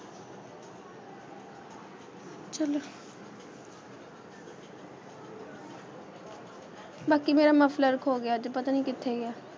ਬਾਕੀ ਮੇਰਾ ਮਫਲਰ ਖੋ ਗਿਆ ਅੱਜ ਪਤਾ ਨਹੀਂ ਕਿੱਥੇ ਗਿਆ,